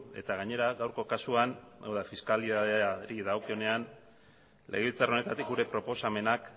eta gainera gaurko kasuan fiskalitateari dagokionean legebiltzar honetatik gure proposamenak